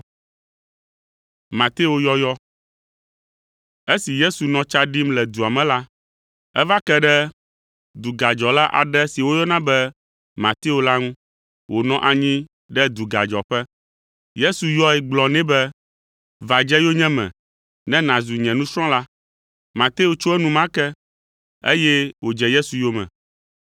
Esi Yesu nɔ tsa ɖim le dua me la, eva ke ɖe dugadzɔla aɖe si woyɔna be Mateo la ŋu wònɔ anyi ɖe dugadzɔƒe. Yesu yɔe gblɔ nɛ be, “Va dze yonyeme ne nàzu nye nusrɔ̃la.” Mateo tso enumake, eye wòdze Yesu yome.